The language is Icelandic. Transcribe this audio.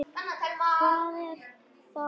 Hvað er þá að?